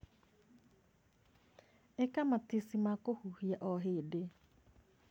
ĩka matici ma kũhuhia o hĩndĩ o hĩndĩ.